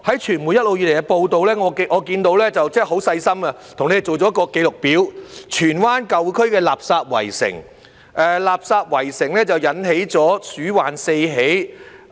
傳媒一直以來也有報道，我看到他們很細心地做了一個紀錄表，荃灣舊區的垃圾圍城，而垃圾圍城引起了鼠患四起。